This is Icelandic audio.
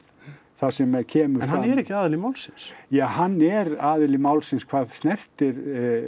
þar sem að kemur fram en hann er ekki aðili málsins ja hann er aðili málsins hvað snertir